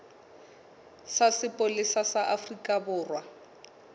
sa sepolesa sa afrika borwa